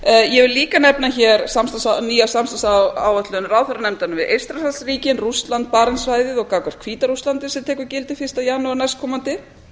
ég vil líka nefna hér nýja samstarfsáætlun ráðherranefndarinnar eystrasaltsríkin rússland barentssvæðið og gagnvart hvíta rússlandi sem tekur gildi fyrsta janúar næstkomandi